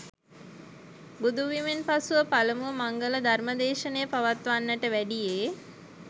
බුදුවීමෙන් පසුව පළමුව මංගල ධර්ම දේශනය පවත්වන්නට වැඩියේ